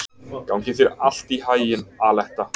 Gangi þér allt í haginn, Aletta.